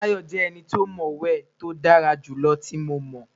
Tayo jẹ eni to mo we ti o dara julọ ti Mo mọ